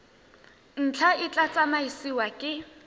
ntlha e tla tsamaisiwa ke